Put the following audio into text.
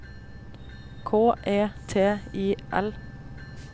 K E T I L